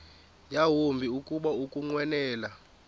yawumbi kuba ukunqwenela